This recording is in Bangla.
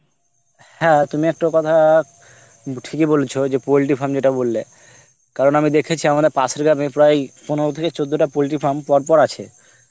হ্যাঁ তুমি একটা কথা উম ঠিকই বলছ যে poultry farm যেটা বললে, আমি দেখেছি আমরা পাশের গ্রামে প্রায় পনেরো থেকে চোদ্দ টা poultry farm পরপর আছে